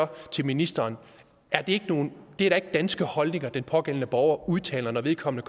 til ministeren det er da ikke danske holdninger den pågældende borger udtaler når vedkommende